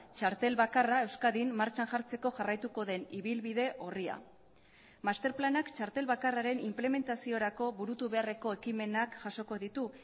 txartel bakarra euskadin martxan jartzeko jarraituko den ibilbide orria masterplanak txartel bakarraren inplementaziorako burutu beharreko ekimenak jasoko ditu